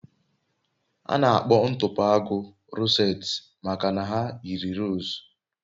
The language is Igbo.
A na-akpọ ntụpọ agu rosettes maka na ha yiri rose